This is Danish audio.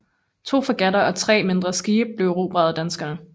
To fregatter og tre mindre skibe blev erobret af danskerne